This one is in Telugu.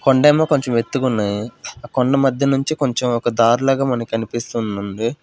కొండేమో కొంచెం ఎత్తుగున్నాయి ఆ కొండ మధ్య నుంచి కొంచెం ఒక దారిలాగా మనకనిపిస్తుందండి.